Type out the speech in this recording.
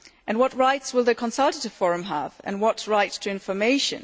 What rights will the consultative forum have and what rights to information?